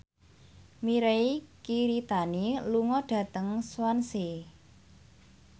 Mirei Kiritani lunga dhateng Swansea